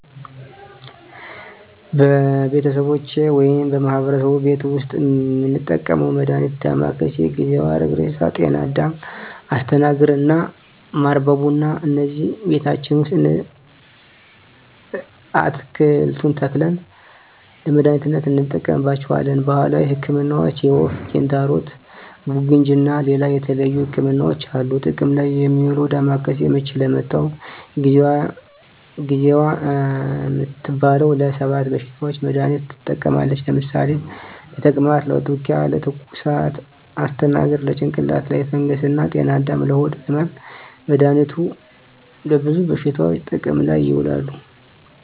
በቤተሰቦቼ ወይም በማህበረሰቡ ቤት ዉስጥ የምንጠቀመዉ መድሃኒት ዳማከሴ፣ ጊዜዋ፣ ሀረግሬሳ፣ ጤናአዳም፣ አስተናግር እና ማር በቡና እነዚህን ቤታችን ዉስጥ አትክልቱን ተክለን ለመድሃኒትነት እንጠቀማቸዋለን። ባህላዊ ህክምናዎች የወፍ፣ ኪንታሮት፣ ቡግንጂ እና ሌላ የተለያዩ ህክምናዎች አሉ። ጥቅም ላይ እሚዉለዉ ዳማከሴ፦ ምች ለመታዉ፣ ጊዜዋ እምትባለዋ ለ 7 በሽታዎች መድሃኒትነት ትጠቅማለች ለምሳሌ፦ ለተቅማጥ፣ ለትዉኪያ፣ ለትኩሳት... ፣ አስተናግር፦ ለጭንቅላት ላይ ፈንገስ እና ጤናአዳም፦ ለሆድ ህመም... መድሃኒቱ ለብዙ በሽታዎች ጥቅም ላይ ይዉላሉ።